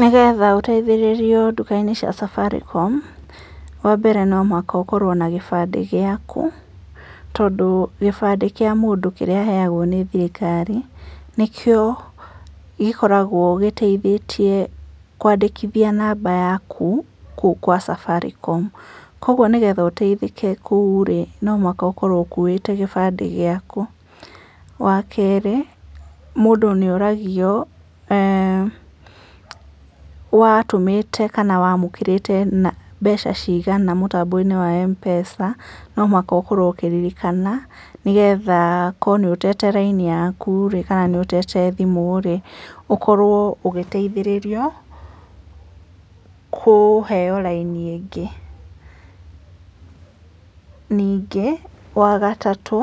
Nĩgetha ũteithĩrĩrio nduka-inĩ cia Safaricom, wa mbere no mũhaka ũkorwo na kĩbandĩ gĩaku, tondũ kĩbandĩ kĩa mũndũ kĩrĩa aheagwo nĩ thirikari nĩkĩo gĩkoragwo gĩteithĩtie kwandĩkithia namba yaku kũu gwa Safaricom, koguo nĩgetha ũteithĩke kũu rĩ, no mũhaka ũkorwo ũkuĩte kĩbandĩ gĩaku, wa kerĩ mũndũ nĩ oragio watũmĩte kana wamũkĩrĩte mbeca cigana mũtambo-inĩ wa Mpesa, no mũhaka ũkorwo ũkĩririkana, nĩgetha akorwo nĩ ũtete raini yaku kana nĩ ũtete thimũ rĩ ũkorwo ũgĩteithĩrĩrio kũheo raini ĩngĩ, ningĩ wagatatũ